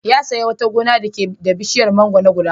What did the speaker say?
Ya sayi wata gona da take da bishiyar mangwaro guda goma.